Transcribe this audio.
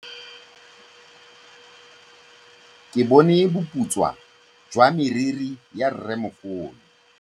Ke bone boputswa jwa meriri ya rrêmogolo.